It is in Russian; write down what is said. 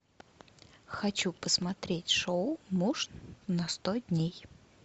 хочу посмотреть шоу муж на сто дней